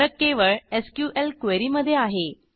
फरक केवळ SQL query मधे आहे